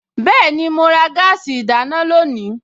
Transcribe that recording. Bẹ́ẹ̀ni, mo ra gáàsì ìdáná lónìí